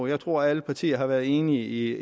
jeg tror at alle partier har været enige